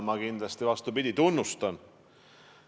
Ma kindlasti, vastupidi, tunnustan neid.